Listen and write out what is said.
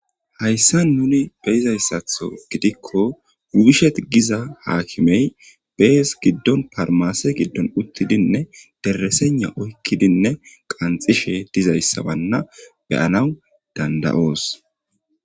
hayssa nuni beyizayssatho gidikko uishet giza haakimey bees giddon parmase giddon uttidinne deresena oykkidinne qanxishe dizayssabanna beyana dandayoos